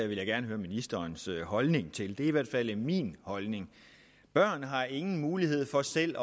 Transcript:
vil jeg gerne høre ministerens holdning til det er i hvert fald min holdning børn har ingen mulighed for selv